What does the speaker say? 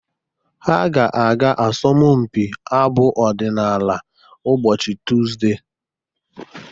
Ha ga-aga asọmpi abụ ọdịnala ụbọchị Tuzdee.